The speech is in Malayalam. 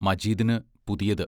മജീദിന് പുതിയത്.